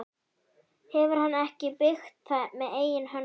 Hefur hann ekki byggt það með eigin höndum?